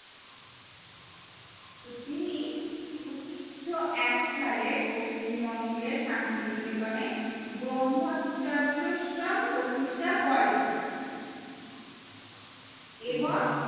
তো তিনি উন্নিশো এক সালে পশ্চিমবঙ্গের শান্তিনিকেতন এ ব্রহ্মচযশ্রম প্রতিষ্ঠা করে